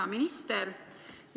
Hea minister!